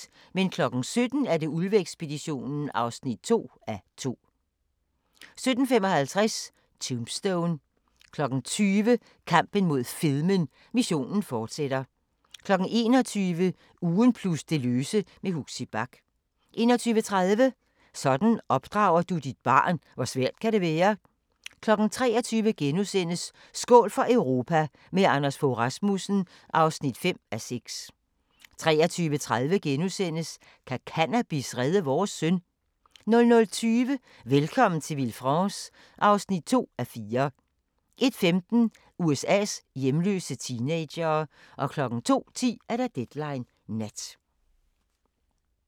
17:00: Ulve-ekspeditionen (2:2) 17:55: Tombstone 20:00: Kampen mod fedmen - missionen fortsætter 21:00: Ugen plus det løse med Huxi Bach 21:30: Sådan opdrager du dit barn – hvor svært kan det være? 23:00: Skål for Europa – med Anders Fogh Rasmussen (5:6)* 23:30: Kan cannabis redde vores søn? * 00:20: Velkommen til Villefranche (2:4) 01:15: USA's hjemløse teenagere 02:10: Deadline Nat